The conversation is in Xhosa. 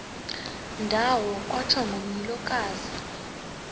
ndawo kwatsho ngomlilokazi